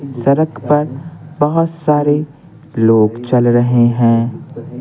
सड़क पर बहुत सारे लोग चल रहे हैं।